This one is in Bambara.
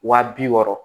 Wa bi wɔɔrɔ